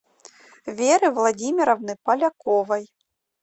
веры владимировны поляковой